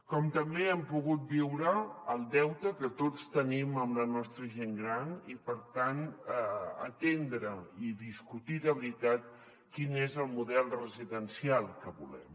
com també hem pogut viure el deute que tots tenim amb la nostra gent gran i per tant atendre i discutir de veritat quin és el model residencial que volem